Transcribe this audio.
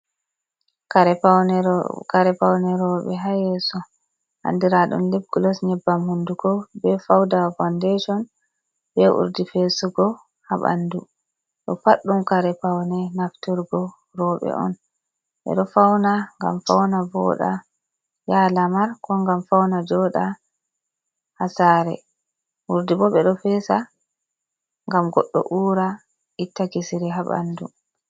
kare paune rewbe ha yeso ,andiradum libgulos nyebbam hunduko ,be fauda faudeshon, be urdi fesugo ha bandu .Do pad dum kare paune nafturgo robe on. be do fauna gam fauna voda yaha lamar ,ko gam fauna joda ha sare ,urdi bo be do fesa gam goddo ura itta kisiri ha bandu.